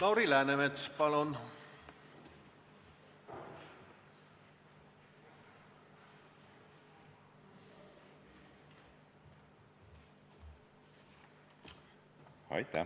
Lauri Läänemets, palun!